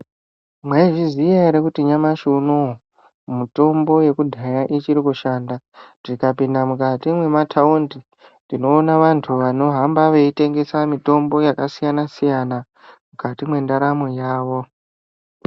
Maizviziya here kuti nyamashi unowu kuti mitombo yekudya achiri kushanda tikapinda mukati mwemataundi tinoona vantu vanohamba veyitengesa mitombo yakasiyana siyana mukati mendaramo yavo.